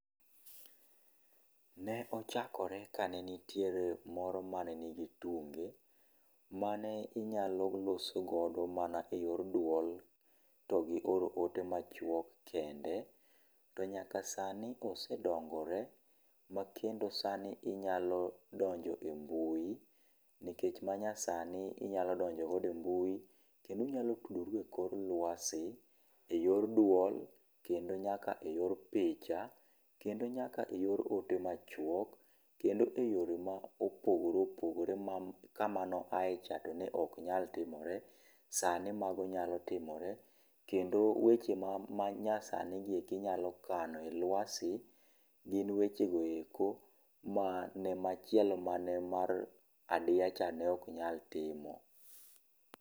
Ne ochakore ka ne nitie moro ma ne ni gi tunge, ma ne inyalo loso go ma na e yor duol, to gi oro ote machuok kende. To nyaka sani osedongore, ma kendo sani inyalo donjo e mbui kendo inyalo tuduru e kor lwasi e yor duol kendo nyaka e yor picha kendo nyaka e yor ote machuok, kendo e yore ma opogore opogore ma ka mane oa cha to ne ok nyal timore. Sa ni mago nyalo timore, kendo weche ma nyasani gi eki nyalo kano e lwasi gin weche go eko ma ne machielo mar adiya cha ne ok nyal timo.